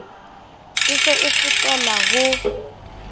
e se e fetela ho